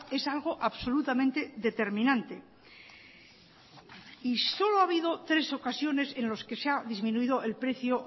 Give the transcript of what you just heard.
es algo absolutamente determinante y solo ha habido tres ocasiones en los que se ha disminuido el precio